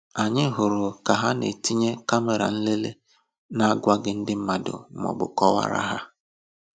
Anyị hụrụ ka ha na-etinye kàmèrà nlele na-agwaghị ndị mmad maọbụ kọwaara ha